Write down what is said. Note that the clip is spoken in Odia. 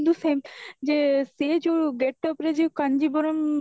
କିନ୍ତୁ same ଯେ ସେ ଯୋଉ gateup ରେ ଯୋଉ କାଞ୍ଜିପୁରମ